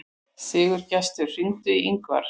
Sigurgestur, hringdu í Yngvar.